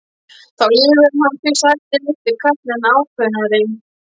Þá lýgur hann því sagði litli karlinn enn ákveðnari.